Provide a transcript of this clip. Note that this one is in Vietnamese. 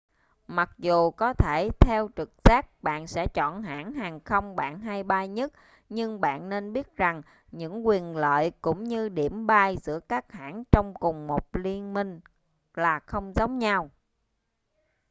mặc dù có thể theo trực giác bạn sẽ chọn hãng hàng không bạn hay bay nhất nhưng bạn nên biết rằng những quyền lợi cũng như điểm bay giữa các hãng trong cùng một liên minh là không giống nhau